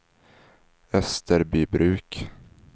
Österbybruk